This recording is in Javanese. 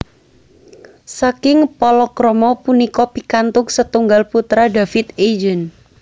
Saking palakrama punika pikantuk setunggal putra David Eugene